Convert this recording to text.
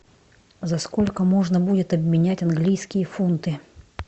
за сколько можно будет обменять английские фунты